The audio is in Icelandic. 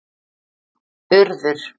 urður